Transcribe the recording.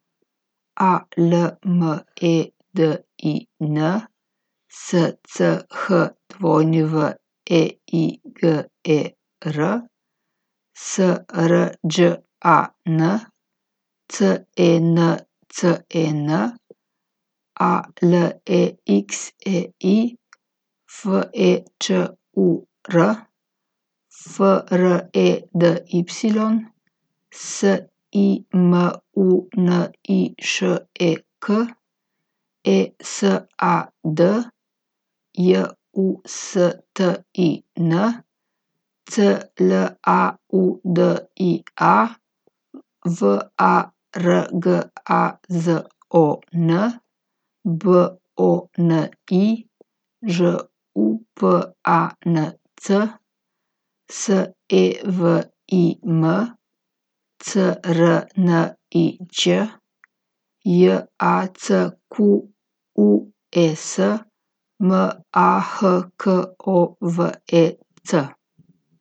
A L M E D I N, S C H W E I G E R; S R Đ A N, C E N C E N; A L E X E I, F E Č U R; F R E D Y, S I M U N I Š E K; E S A D, J U S T I N; C L A U D I A, V A R G A Z O N; B O N I, Ž U P A N C; S E V I M, C R N I Ć; J A C Q U E S, M A H K O V E C.